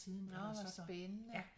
Nåh hvor spændende